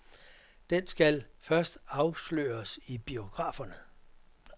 Den skal først afsløres i biograferne.